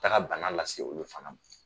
Taga bana lase olu fana ma.